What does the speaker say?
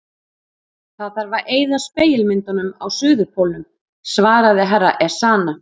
Það þarf að eyða spegilmyndunum á Suðurpólnum, svaraði herra Ezana.